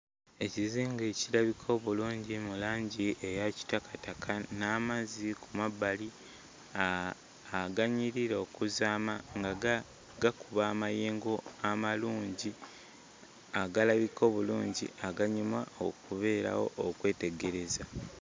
Ekizinga ekirabika obulungi mu langi eya kitakataka n'amazzi ku mabbali uh aganyirira okuzaama nga ga gakuba amayengo amalungi agalabika obulungi aganyuma okubeerawo okwetegereza.